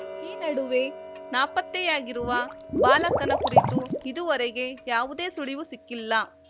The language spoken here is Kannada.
ಈ ನಡುವೆ ನಾಪತ್ತೆಯಾಗಿರುವ ಬಾಲಕನ ಕುರಿತು ಇದುವರೆಗೆ ಯಾವುದೇ ಸುಳಿವು ಸಿಕ್ಕಿಲ್ಲ